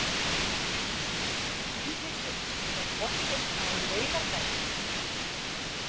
Rúnhildur, er bolti á laugardaginn?